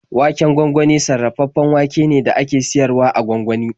Waken gwangwani sarrafaffen wake ne da aka siyar wa a gwangwani.